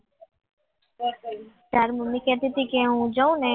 તારા મમ્મી કહેતી હતી કે હું જાઉં ને